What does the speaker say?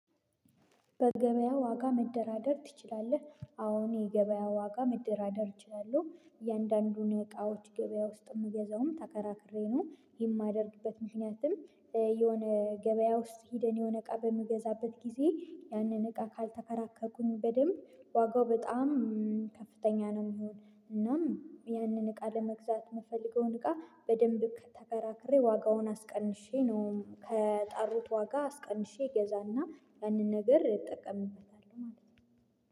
በገበያ ዋጋ መደራደር ትችላለህ? አዎ የገበያ ዋጋ መደራደር እችላለሁ። እያንዳንዱን የእቃዎች ገበያ ውስጥ የምገዛውም ተከራክሬ ነው የማደርግበት ምክንያቱም የሆነ ገበያ ውስጥ ሄደን የሆነ እቃ በምገዛበት ጊዜ ያንን እቃ ካልተከራከርኩኝ በደንብ ዋጋው በጣም ከፍተኛ ነው። የሚሆን እናም ያንን እቃ ለመግዛት የምፈልገውን እቃ በደንብ ተከራክሬ ዋጋውን አስቀንሼ ነው ከጠሩት ዋጋ አስቀንሼ እገዛና ያንን ብር እጠቀምበታል ማለት ነው።